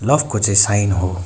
Love को चै sign हो।